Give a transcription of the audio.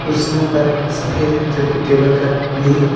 कुर्सियों का रंग सफेद है जबकि टेबल का रंग ब्लू है।